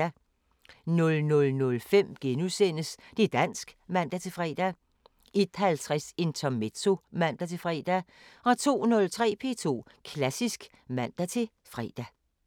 00:05: Det´ dansk *(man-fre) 01:50: Intermezzo (man-fre) 02:03: P2 Klassisk (man-fre)